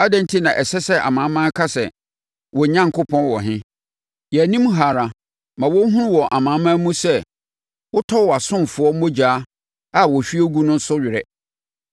Adɛn enti na ɛsɛ sɛ amanaman ka sɛ, “Wɔn Onyankopɔn wɔ he?” Yɛn anim ha ara, ma wɔnhunu wɔ amanaman mu sɛ wotɔ wʼasomfoɔ mogya a wɔahwie agu no so werɛ.